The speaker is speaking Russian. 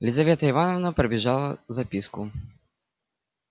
елизавета ивановна пробежала записку